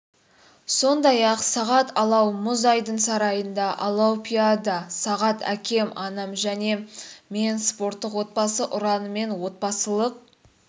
сондай-ақ сағат алау мұз айдын сарайында алаупиада сағат әкем анам және мен спорттық отбасы ұранымен отбасылық